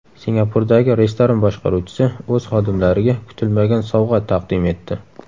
Singapurdagi restoran boshqaruvchisi o‘z xodimlariga kutilmagan sovg‘a taqdim etdi.